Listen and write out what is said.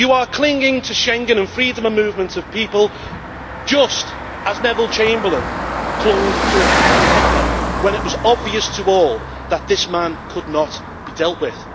You are clinging to Schengen and freedom of movement of people, just as Neville Chamberlain clung to appeasing Hitler when it was obvious to all that this man could not be dealt with.